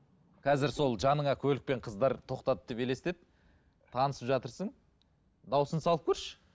қазір сол жаныңа көлікпен қыздар тоқтады деп елестет танысып жатырсың дауысын салып көрші